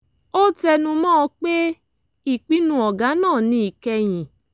ó tẹnu mọ́ ọn pé ìpinnu ọ̀gá náà ni ìkẹyìn